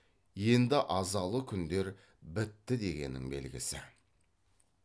енді азалы күндер бітті дегеннің белгісі